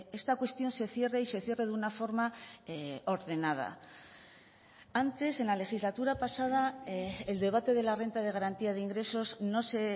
esta cuestión se cierre y se cierre de una forma ordenada antes en la legislatura pasada el debate de la renta de garantía de ingresos no se